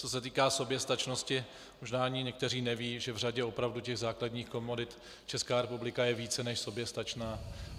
Co se týká soběstačnosti, možná ani někteří nevědí, že v řadě opravdu těch základních komodit Česká republika je více než soběstačná.